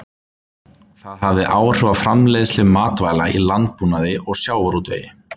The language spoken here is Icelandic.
Það hefði áhrif á framleiðslu matvæla í landbúnaði og sjávarútvegi.